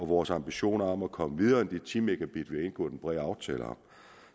vores ambition om at komme videre end de ti megabit vi har indgået en bred aftale om